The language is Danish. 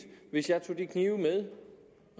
hvis jeg tog de knive med